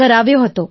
કરાવ્યો હતો